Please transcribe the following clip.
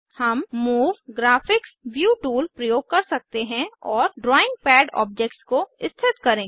हम move graphics view tool प्रयोग कर सकते हैं और ड्राइंग पैड ऑब्जेक्ट्स को स्थित करें